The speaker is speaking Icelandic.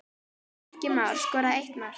Bjarki Már skoraði eitt mark.